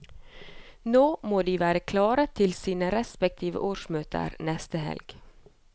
Nå må de være klare til sine respektive årsmøter neste helg.